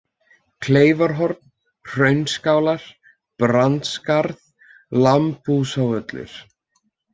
Kleifahorn, Hraunskálar, Brandsskarð, Lambhúsvöllur